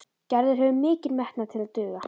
Gerður hefur mikinn metnað til að duga.